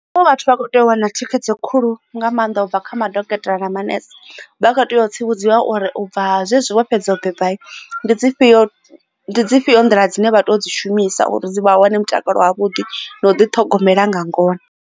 Zwine vhathu vha kho tea u wana thikhedzo khulu nga maanḓa ubva kha madokotela na manese vha tea u tsivhudzwa uri ubva zwezwi vho fhedza u beba ndi dzi fhio dzifhio nḓila dzine vha to dzi shumisa uri dzi vha wane mutakalo wavhuḓi na u ḓi ṱhogomela nga ngona.